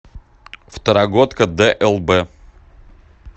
второгодка длб